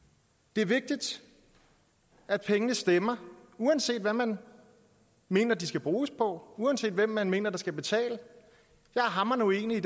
det er vigtigt at pengene stemmer uanset hvad man mener de skal bruges på uanset hvem man mener der skal betale jeg er hamrende uenig i